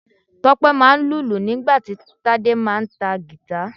Tope máa ń lùlù nígbà tí Tade máà ń ta guitar.